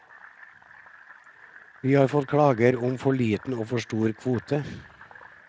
Vi har fått klager om for liten og for stor kvote.